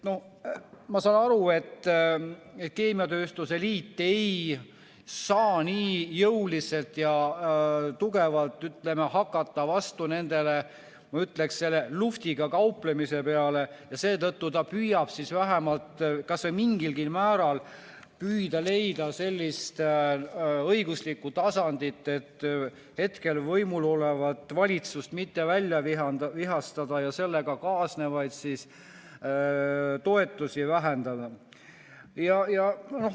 Ma saan aru, et keemiatööstuse liit ei saa nii jõuliselt ja tugevalt hakata vastu, ma ütleksin, luhvtiga kauplemisele, ja seetõttu ta püüab kas või mingilgi määral leida sellist õiguslikku tasandit, et hetkel võimul olevat valitsust mitte välja vihastada ja sellega kaasnevalt toetusi vähendada.